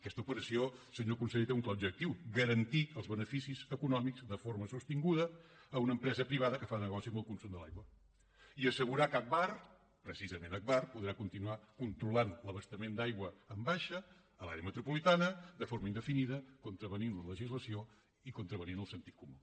aquesta operació senyor conseller té un clar objectiu garantir els beneficis econòmics de forma sostinguda a una empresa privada que fa negoci amb el consum de l’aigua i assegurar que agbar precisament agbar podrà continuar controlant l’abastament d’aigua en baixa a l’àrea metropolitana de forma indefinida contravenint la legislació i contravenint el sentit comú